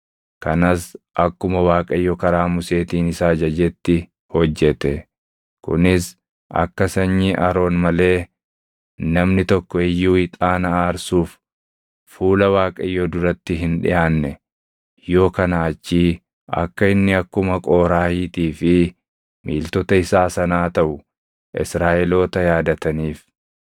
Kanas akkuma Waaqayyo karaa Museetiin isa ajajetti hojjete. Kunis akka sanyii Aroon malee namni tokko iyyuu ixaana aarsuuf fuula Waaqayyoo duratti hin dhiʼaanne, yoo kanaa achii akka inni akkuma Qooraahiitii fi miiltota isaa sanaa taʼu Israaʼeloota yaadataniif.